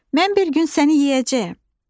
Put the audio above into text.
Mən bir gün səni yeyəcəyəm.